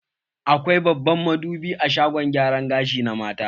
Akwai babban madubi a shagon gyaran gashi na mata.